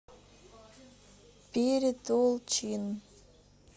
перетолчин